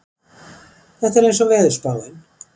Þetta er eins og veðurspáin